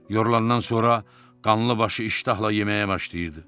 Yorulandan sonra qanlı başı iştahla yeməyə başlayırdı.